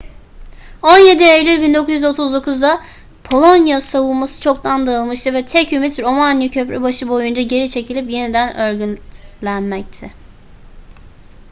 17 eylül 1939'da polonya savunması çoktan dağılmıştı ve tek ümit romanya köprübaşı boyunca geri çekilip yeniden örgütlenmekti